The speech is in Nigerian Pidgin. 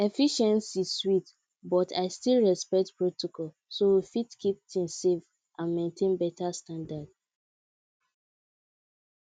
efficiency sweet but i still respect protocol so we fit keep things safe and maintain better standard